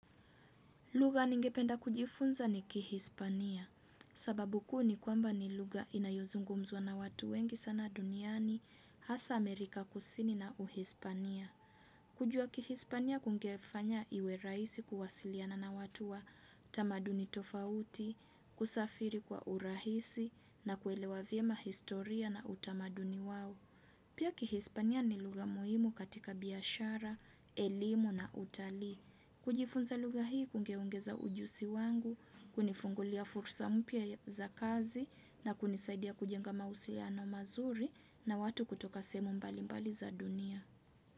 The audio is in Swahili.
Lugha ningependa kujifunza ni kihispania, sababu kuu ni kwamba ni lugha inayozungu mzwa na watu wengi sana duniani, hasa Amerika kusini na uhispania. Kujua kihispania kungefanya iweraisi kuwasiliana na watu wa tamaduni tofauti, kusafiri kwa urahisi na kuelewa vyema historia na utamaduni wao. Pia kihispania ni lugha muhimu katika biashara, elimu na utalii. Kujifunza lugha hii kungeongeza ujusi wangu, kunifungulia fursa mpya za kazi na kunisaidia kujenga mausiano mazuri na watu kutoka sehemu mbali mbali za dunia.